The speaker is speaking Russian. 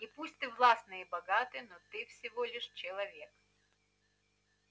и пусть ты властный и богатый но ты всего лишь человек